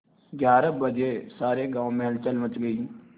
ग्यारह बजे सारे गाँव में हलचल मच गई